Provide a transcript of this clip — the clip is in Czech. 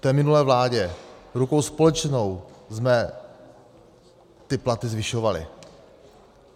V té minulé vládě rukou společnou jsme ty platy zvyšovali.